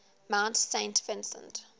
mount saint vincent